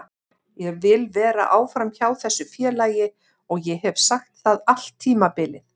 Ég vil vera áfram hjá þessu félagi og ég hef sagt það allt tímabilið.